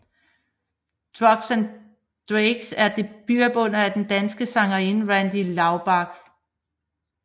Ducks and Drakes er debutalbummet af den danske sangerinde Randi Laubek